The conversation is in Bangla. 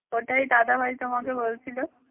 ওটাই দাদা ভাই তোমাকে বলছিল।